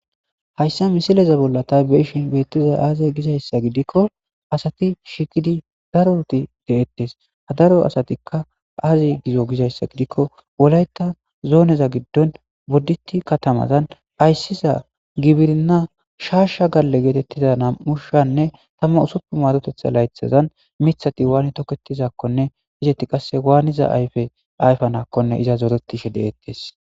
Haysa misileza bolla ta beyishn betizay aze gizaysa gidikon sati shiiqid darot detes, etika azi gizo gizaysa agidiko wolaita zoneza gidondon bodit kataman aysiza gibrina shaashe gale getitiza 2026 laythazan mithat waan tiketizakonne izeti qase waanida ayfe ayfanamonne iza zoretishe de'etes.